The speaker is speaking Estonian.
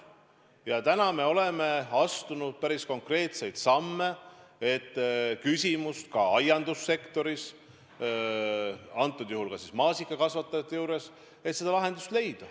Ja täna me oleme astunud päris konkreetseid samme, et leida lahendus ka aiandussektoris, antud juhul siis maasikakasvatajate jaoks.